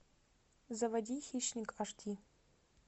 заводи хищник аш ди